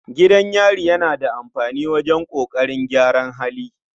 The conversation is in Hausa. Gidan yari yana da amfani wajen ƙoƙarin gyara hali.